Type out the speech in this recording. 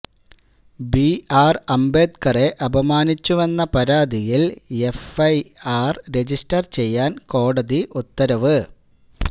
B R ആംബേദ്കറെ അപമാനിച്ചുവെന്ന പരാതിയില് എഫ് ഐ ആര് രജിസ്റ്റര് ചെയ്യാന് കോടതി ഉത്തരവ്